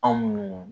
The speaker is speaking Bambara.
Anw munnu